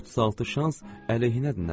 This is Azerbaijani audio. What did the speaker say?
36 şans əleyhinədir, nənə.